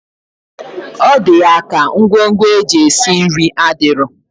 Ọdi yaka ngwo ngwo eji esi nri adiro.